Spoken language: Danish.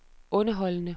underholdende